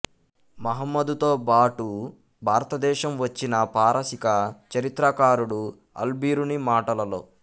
మహమ్మదుతో బాటు భారతదేశము వచ్చిన పారశీక చరిత్రకారుడు అల్ బిరూని మాటలలో